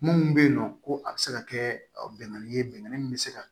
Mun bɛ yen nɔ ko a bɛ se ka kɛ bɛnkan ye bɛnkan min bɛ se ka